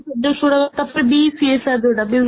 products ଗୁଡାକ ତାପରେ ବି DCSR ଯୋଉଟା